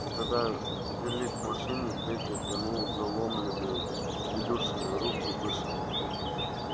когда вели к машине петя тянул заломленные илюшины руки повыше